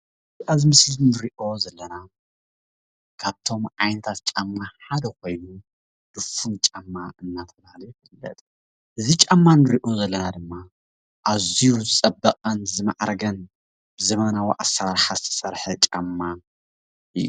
ኣብዚ ምስሊ እንሪኦ ዘለና ካብቶም ዓይነታት ጫማ ሓደ ኮይኑ ድፍን ጫማ እናተብሃለ ዝፍለጥ እዚ ጫማ እንሪኦ ዘለና ድማ ኣዝዩ ዝፀበቐን ዝማዕረገን ብዘበናዊ ኣሰራርሓ ዝተሰርሐ ጫማ እዩ።